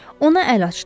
Ona əl açdım.